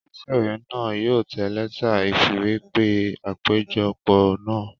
Olùtẹ̀wé náà yóò tẹ lẹ́tà ìfìwépè àpéjọpọ̀ náà